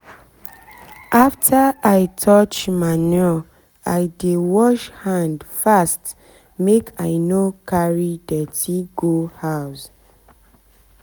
after i touch manure i dey wash hand fast make i no carry dirty go house